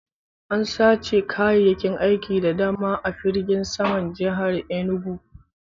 An sace kayayyakin aiki da dama a firgin saman jihar Inugu